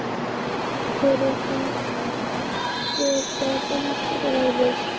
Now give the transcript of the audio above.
Hver var innistæðan?